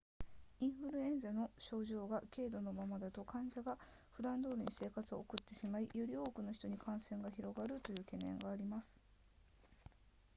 インフルエンザの症状が軽度のままだと患者がふだんどおりに生活を送ってしまいより多くの人に感染が広がるという懸念があります